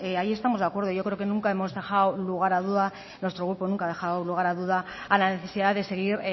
ahí estamos de acuerdo yo creo que nunca hemos dejado lugar a duda nuestro grupo nunca ha dejado lugar a duda a la necesidad de seguir